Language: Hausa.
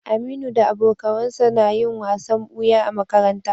Aminu da abokawansa na yin wasan buya a makaranta